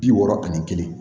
Bi wɔɔrɔ ani kelen